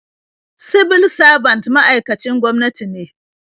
Sibil sabant ma'aikacin gwamnati ne.